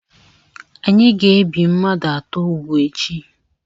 Anyị ga-ebi mmadụ atọ úgwù echi.